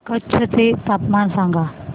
कच्छ चे तापमान सांगा